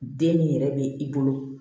Den min yɛrɛ bɛ i bolo